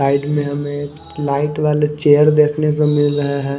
Side में हमें light वाला चेयर देखने को मिल रहा है।